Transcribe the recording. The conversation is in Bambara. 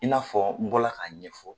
I n'a fɔ n bɔ la k'a ɲɛfɔ.